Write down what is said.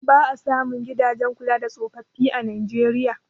Ba a samun gidajen kula da tsofaffin a Najeriya.